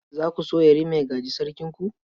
Za ku so Yarima ua gaji Sarkinku?